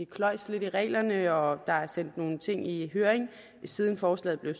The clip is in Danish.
kløjes lidt i reglerne og der er sendt nogle ting i høring siden forslaget blev